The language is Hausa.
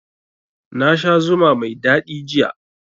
Na sha zuma mai daɗi jiya